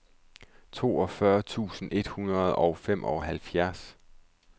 toogfyrre tusind et hundrede og femoghalvfjerds